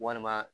Walima